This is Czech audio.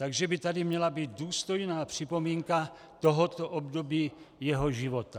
Takže by tady měla být důstojná připomínka tohoto období jeho života.